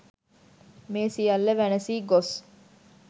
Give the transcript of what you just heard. මේ සියල්ල වැනසී ගොස්